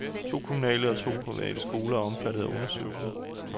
To kommunale og to private skoler er omfattet af undersøgelsen.